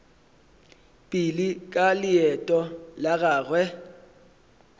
pele ka leeto la gagwe